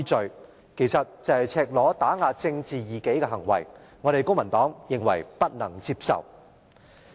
這其實是赤裸裸打壓政治異己的行為，公民黨認為不能接受。